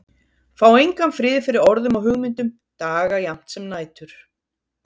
Fá engan frið fyrir orðum og hugmyndum, daga jafnt sem nætur.